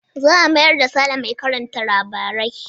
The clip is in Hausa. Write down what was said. Za a mayar da Sale mai karanta labarai.